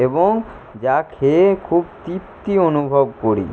এবং যা খেয়ে খুব তৃপ্তি অনুভব করি।